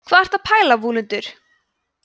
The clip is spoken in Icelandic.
hvað ertu að pæla vúlundur